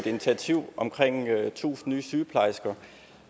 initiativ om tusind flere sygeplejersker